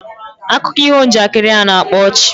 Akuko iho njakiri na-akpa ọchị